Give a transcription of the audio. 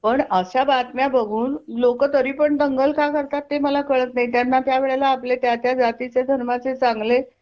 पण आशा बातम्या बघून लोक तरी पण दंगल का करतात ते मला कळत नाही त्यांना त्या वेळेला आपले त्या त्या जातीचे धर्माचे चांगले